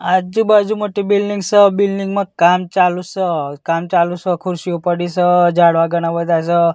આજુ-બાજુ મોટી બિલ્ડિંગ સ બિલ્ડિંગ માં કામ ચાલુ સ કામ ચાલુ સ ખુરશીઓ પડી સ ઝાડવા ઘણા બધા સ.